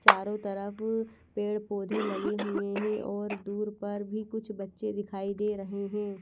चारो तरफ पेड़ पौधे लगे हुए हैं और दूर पर भी कुछ बच्चे दिखाई दे रहे हैं।